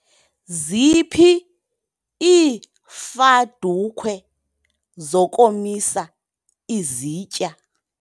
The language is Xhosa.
Ziphi iifadukhwe zokomisa izitya?